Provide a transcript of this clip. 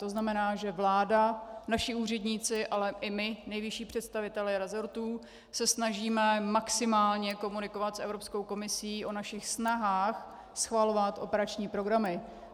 To znamená, že vláda, naši úředníci, ale i my, nejvyšší představitelé resortů, se snažíme maximálně komunikovat s Evropskou komisí o našich snahách, schvalovat operační programy.